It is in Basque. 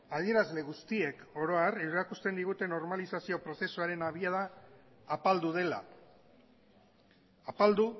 adierazle guztiek oro har erakusten digute normalizazio prozesuaren abiada apaldu dela apaldu